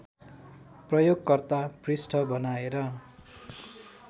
प्रयोगकर्ता पृष्ठ बनाएर